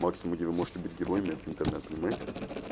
максимум где вы можете быть героями это интернет понимаете